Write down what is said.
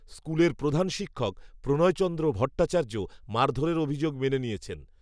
স্কুলের প্রধান শিক্ষক, প্রণয়চন্দ্র ভট্টাচার্য, মারধরের অভিযোগ মেনে নিয়েছেন